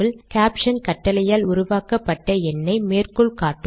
caption கட்டளையால் உருவாக்கப்பட்ட எண்னை மேற்கோள் காட்டும்